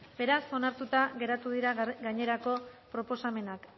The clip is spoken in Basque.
beraz onartuta geratu dira gainerako proposamenak